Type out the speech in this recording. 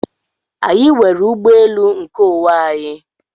Anyị nwere ụgbọelu nkeonwe anyị.